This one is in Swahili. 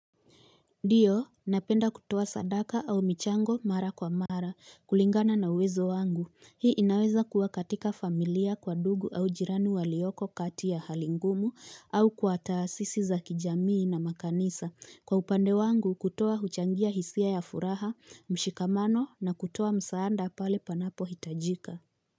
Ndiyo napenda kutoa sadaka au michango mara kwa mara kulingana na uwezo wangu hii inaweza kua katika familia kwa ndugu au jirani walioko kati ya hali ngumu au kwa taasisi za kijamii na makanisa kwa upande wangu kutoa huchangia hisia ya furaha mshikamano na kutoa msaada pale panapo hitajika.